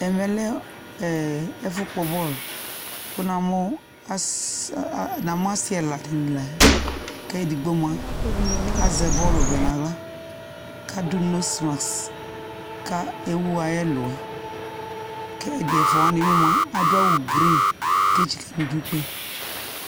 Ɛmɛ lɛ ɛɛ ɛfʋkpɔbɔl , kʋ namʋ ass aa namʋ asɩ ɛla dɩnɩ la k'edigbo mʋa azɛ bɔlvɛ n'aɣla, k'adʋ noslas ka ewu ay'ɛlʋɛ ; k'ɛdɩ ɛfʋawanɩ bɩ mʋa, adʋawʋ grin, k'etsik'idu kpe